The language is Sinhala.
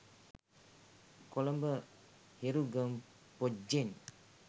කොළඹ හෙරුගම් පොජ්ජෙන්